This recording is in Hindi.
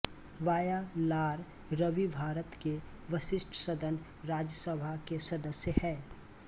वायालार रवि भारत के वरिष्ठ सदन राज्यसभा के सदस्य हैं